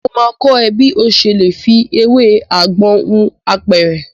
Mo máa kọ́ ẹ bí ọ ṣe lè fi ewé àgbọn hun apẹ̀rẹ̀.